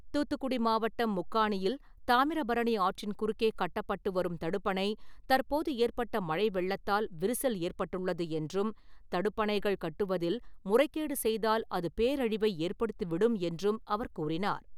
தூத்துக்குடி மாவட்டம் முக்காணியில் தாமிரபரணி ஆற்றின் குறுக்கே கட்டப்பட்டு வரும் தடுப்பணை தற்போது ஏற்பட்ட மழை வெள்ளத்தால் விரிசல் ஏற்பட்டுள்ளது என்றும், தடுப்பணைகள் கட்டுவதில் முறைகேடு செய்தால் அது பேரழிவை ஏற்படுத்தி விடும் என்றும் அவர் கூறினார்.